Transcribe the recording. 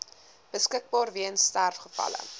beskikbaar weens sterfgevalle